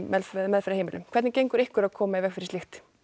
meðferðarheimilum hvernig gengur ykkur að koma í veg fyrir slíkt